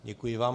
Děkuji vám.